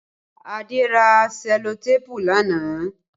Adé ra sẹlotéépù lánàá